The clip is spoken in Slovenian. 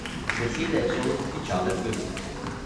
Besede so mu obtičale v grlu.